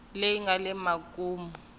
leyi nga le makumu ka